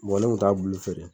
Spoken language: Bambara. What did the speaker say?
ne kun t'a bulon feere